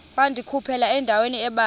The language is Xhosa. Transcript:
wandikhuphela endaweni ebanzi